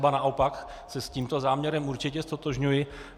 Ba naopak se s tímto záměrem určitě ztotožňuji.